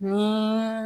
Ni